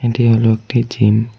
এটি হলো একটি জিম ।